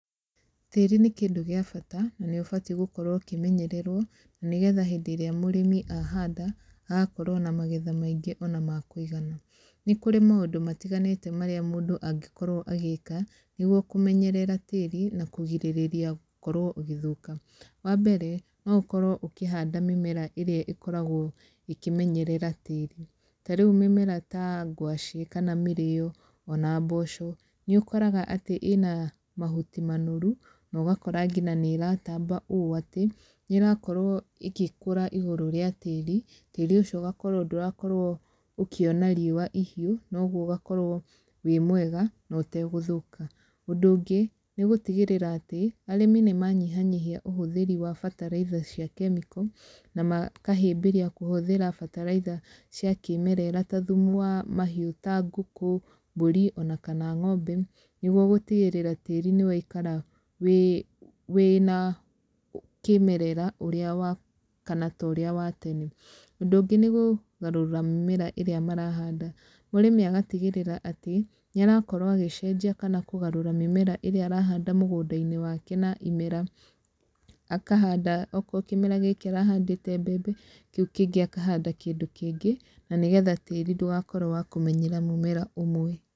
Tĩĩri nĩ kĩndũ gĩa bata, na nĩ ũbati gũkorwo ũkĩmenyererwo, na nĩgetha hĩndĩ ĩrĩa mũrĩmi ahanda, agakorwo na magetha maingĩ ona ma kũigana. Nĩ kũrĩ maũndũ matiganĩte marĩa mũndũ angĩkorwo agĩĩka, nĩguo kũmenyerera tĩĩri, na kũgirĩrĩria gũkorwo ũgĩthũka. Wa mbere, no ũkorwo ũkĩhanda mĩmera ĩrĩa ĩkoragwo ĩkĩmenyerera tĩĩri. Ta rĩu mĩmera ta ngwacĩ kana mĩrĩĩo, ona mboco, nĩ ũkoraga atĩ ĩna mahuti manoru, na ũgakora nginya nĩ ĩratamba ũũ atĩ, nĩ ĩrakorwo ĩkĩkũra igũrũ rĩa tĩĩri, tĩĩri ũcio ũgakorwo ndũrakorwo ũkĩona riũa ihiũ, na ũguo ũgakorwo wĩ mwega, na ũtegũthũka. Ũndũ ũngĩ, nĩ gũtigĩrĩra atĩ, arĩmi nĩ manyihanyihia ũhũthĩri wa bataraitha cia kemiko, na makahĩmbĩria kũhũthĩra bataraitha cia kĩmerera ta thumu wa mahiũ ta ngũkũ, mbũri, ona kana ng'ombe, nĩguo gũtigĩrĩra tĩĩri nĩ waikara wĩ wĩna kĩmeerera ũrĩa wa kana ta ũrĩa wa tene. Ũndũ ũngĩ nĩ gũgarũra mĩmera ĩrĩa marahanda. Mũrĩmi agatigĩrĩra atĩ, nĩ arakorwo agĩcenjia kana kũgarũra mĩmera ĩrĩa arahanda mũgũnda-inĩ wake na imera. Akahanda okorwo kĩmera gĩkĩ arahandĩte mbembe, kĩu kĩngĩ akahanda kĩndũ kĩngĩ, na nĩgetha tĩĩri ndũgakorwo wa kũmenyera mũmera ũmwe.